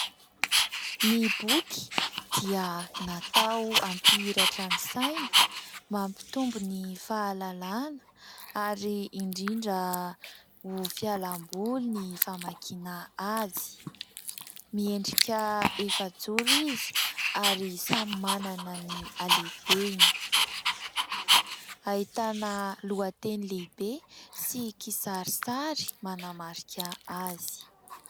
Ny boky dia natao hampihiratra ny saina, mampitombo ny fahalalàna ary indrindra ho fialamboly ny famakiana azy. Miendrika efajoro izy ary samy manana ny halehibeny. Ahitana lohateny lehibe sy kisarisary manamarika azy.